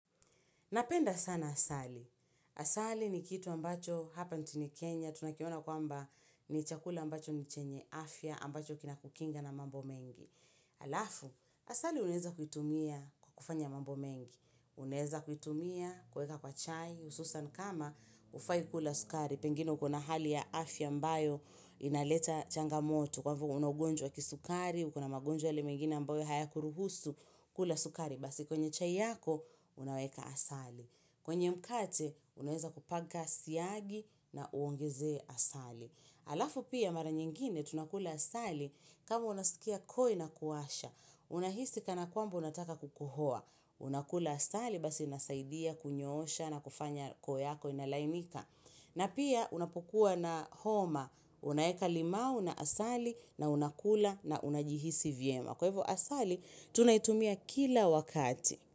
Napenda sana asali. Asali ni kitu ambacho hapa nchini kenya. Tunakiona kwamba ni chakula ambacho ni chenye afya ambacho kina kukinga na mambo mengi. Alafu, asali unaeza kuitumia kukufanya mambo mengi. Uneza kuitumia, kueka kwa chai, ususa kama hufai kula sukari. Pengine kuna hali ya afya mbayo inaleta changamoto. Kwa hivyo una ugonjwa kisukari, ukuna magonjwa yalimegina ambayo haya kuruhusu, kula sukari. Basi kwenye chai yako unaweka asali kwenye mkate unaweza kupaka siagi na uongeze asali Alafu pia mara nyingine tunakula asali kama unasikia koi na kuasha Unahisi kana kwambo unataka kukuhoa unakula asali basi nasaidia kunyosha na kufanya koi yako inalaimika na pia unapukua na homa Unaeka limau na asali na unakula na unajihisi vyema Kwa hivyo asali, tunaitumia kila wakati.